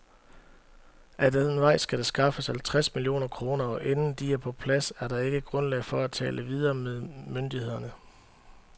Ad den vej skal der skaffes halvtreds millioner kroner, og inden de er på plads er der ikke grundlag for at tale videre med myndighederne.